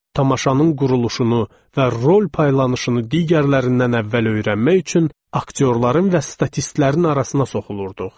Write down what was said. Tamaşanın quruluşunu və rol paylanışını digərlərindən əvvəl öyrənmək üçün aktyorların və statistlərin arasına soxulurduq.